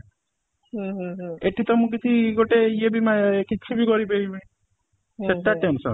ଏଠି ତ ମୁଁ କିଛି ଗୋଟେ ଇଏ ବି ମା କିଛି ବି କରି ପାରିବିନି ସେଟା tension